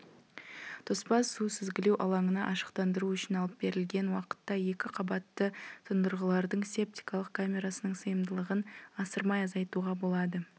тоспа су сүзгілеу алаңына ашықтандыру үшін алып берілген уақытта екі қабатты тұндырғылардың септикалық камерасының сыйымдылығын асырмай азайтуға болады